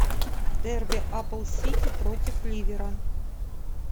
дерби апл сити против ливера